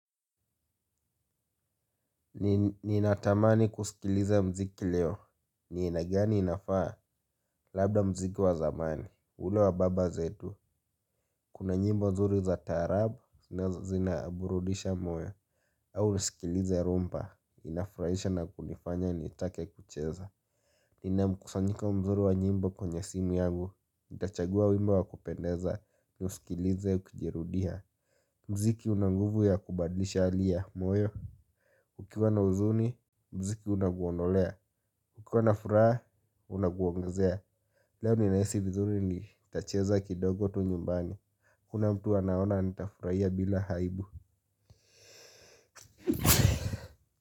Ninatamani kusikiliza mziki leo. Ni aina gani inafaa labda mziki wa zamani. Ule wa baba zetu. Kuna nyimbo nzuri za taarab zina burudisha moyo. Au nisikilize rumpa inafrahisha na kunifanya nitake kucheza. Ninamkusanyika mzuri wa nyimbo kwenye simu yangu. Itachagua wimbo wa kupendeza niuskilize ukijirudiha. Mziki una nguvu ya kubadlisha ali ya moyo. Ukiwa na uzuni, mziki unaguondolea. Ukiwa na furaa, unaguongezia. Leo ninaisi vizuri nitacheza kidogo tu nyumbani. Kuna mtu anaona nitafuraiya bila haibu.